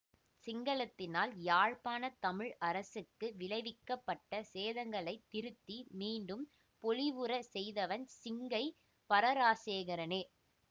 சிங்களத்தினால் யாழ்ப்பாண தமிழ் அரசுக்கு விளைவிக்கப்பட்ட சேதங்களை திருத்தி மிண்டும் போலிவுறச் செய்தவன் சிங்கை பரராசசேகரனே